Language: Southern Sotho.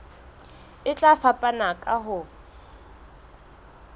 e tla fapana ka ho